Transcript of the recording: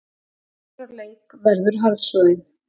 Svartur á leik verður harðsoðin